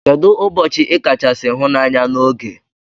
Kedu ubochi ikachasi hu na anya na ogee?